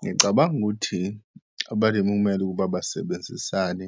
Ngicabanga ukuthi abalimi kumele ukuba basebenzisane